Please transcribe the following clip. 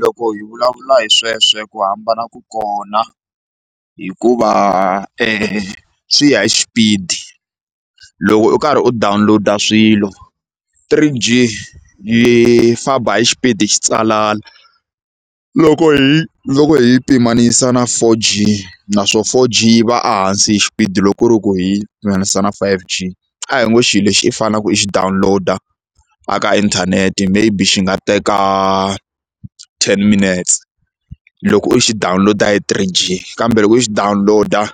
Loko hi vulavula hi sweswo ku hambana ku kona hikuva e swi ya hi xipidi loko u karhi u download-a swilo three G yi famba hi xipidi xitsanana loko hi loko hi yi pimanisa na four G naswona four G yi va a hansi hi xipidi loko ku ri ku hi pimanisa na five G a hi ngo xi lexi i faneleke i xi download a ka inthanete maybe xi nga teka ten minutes loko u xi download hi three G kambe loko i download-a